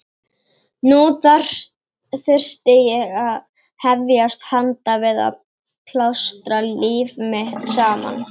Nú þurfti ég að hefjast handa við að plástra líf mitt saman.